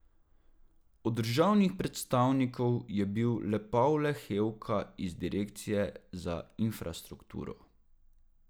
Od državnih predstavnikov je bil le Pavle Hevka iz direkcije za infrastrukturo.